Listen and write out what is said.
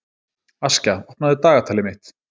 Askja, opnaðu dagatalið mitt.